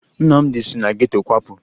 Nnamdị si na geto kwapụ